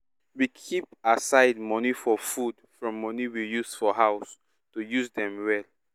we keep aside money for food from money we use for house to use dem well